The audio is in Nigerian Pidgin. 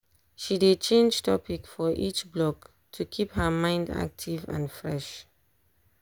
she dey change topic for each block to keep her mind active and fresh.